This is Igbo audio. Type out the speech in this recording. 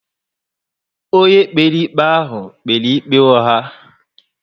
Ónyé kpere ikpe ahụ kpere ikpe ugha